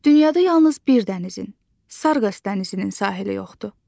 Dünyada yalnız bir dənizin, Sarqas dənizinin sahili yoxdur.